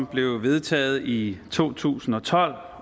blev vedtaget i to tusind og tolv